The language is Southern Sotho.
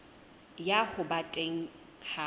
ya ho ba teng ha